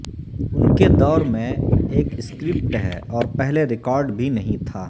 ان کے دور میں ایک سکرپٹ ہے اور پہلے ریکارڈ بھی نہیں تھا